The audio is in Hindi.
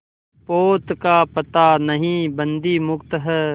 पोत का पता नहीं बंदी मुक्त हैं